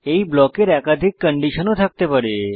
এই ব্লকের একাধিক কন্ডিশন ও থাকতে পারে